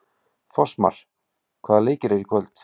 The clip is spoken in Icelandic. Fossmar, hvaða leikir eru í kvöld?